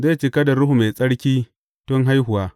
Zai cika da Ruhu Mai Tsarki tun haihuwa.